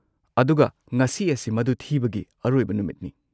ꯑꯗꯨꯒ ꯉꯁꯤ ꯑꯁꯤ ꯃꯗꯨ ꯊꯤꯕꯒꯤ ꯑꯔꯣꯏꯕ ꯅꯨꯃꯤꯠꯅꯤ꯫